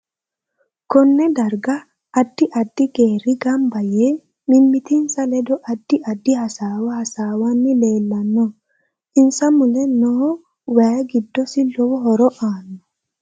Konne darga addi addi geeri ganba yee mimitinsa ledo addi addi hasaawa hasaawani leelanno insa mule noo wayi giddosi lowo horo aano